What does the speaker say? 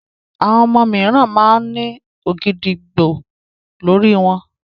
Àwọn ọmọ mìíràn máa ń ní ògìdìgbó lórí wọn.